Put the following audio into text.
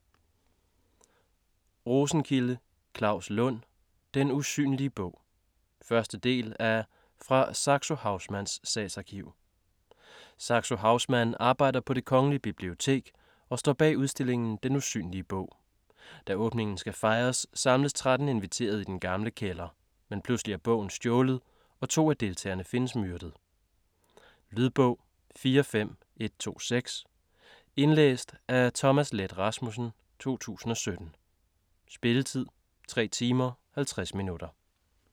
Rosenkilde, Claus Lund: Den usynlige bog 1. del af Fra Saxo Haussmanns sagsarkiv. Saxo Haussmann arbejder på Det Kongelige Bibliotek og står bag udstillingen Den Usynlige Bog. Da åbningen skal fejres, samles 13 inviterede i den gamle kælder. Men pludselig er bogen stjålet og to af deltagerne findes myrdet. Lydbog 45126 Indlæst af Thomas Leth Rasmussen, 2017. Spilletid: 3 timer, 50 minutter.